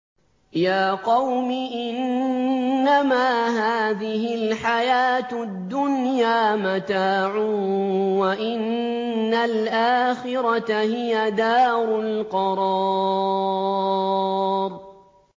يَا قَوْمِ إِنَّمَا هَٰذِهِ الْحَيَاةُ الدُّنْيَا مَتَاعٌ وَإِنَّ الْآخِرَةَ هِيَ دَارُ الْقَرَارِ